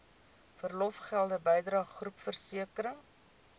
verlofgelde bydrae groepversekering